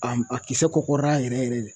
A a kisɛ kɔkɔrɔla yɛrɛ yɛrɛ de